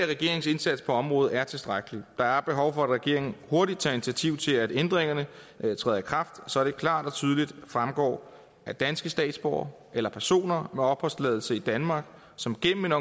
regeringens indsats på området er tilstrækkelig der er behov for at regeringen hurtigt tager initiativ til at ændringerne træder i kraft så det klart og tydeligt fremgår at danske statsborgere eller personer med opholdstilladelse i danmark som gennem en